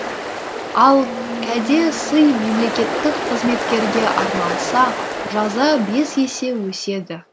ал кәде сый мемлекеттік қызметкерге арналса жаза бес есе өседі